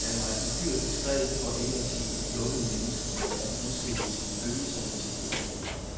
Han var et uhyre diskret, for ikke at sige et lukket, menneske, der hverken udstillede sine følelser eller sit privatliv.